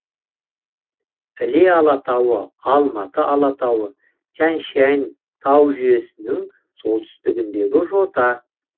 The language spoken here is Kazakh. іле алатауы алматы алатауы тянь шань тау жүйесінің солтүстігіндегі жота